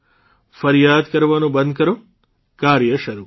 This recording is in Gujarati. ફરિયાદ કરવાનું બંધ કરો કાર્ય શરૂ કરો